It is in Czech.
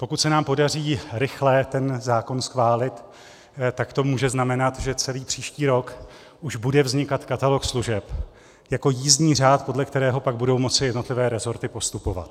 Pokud se nám podaří rychle ten zákon schválit, tak to může znamenat, že celý příští rok už bude vznikat katalog služeb jako jízdní řád, podle kterého pak budou moci jednotlivé resorty postupovat.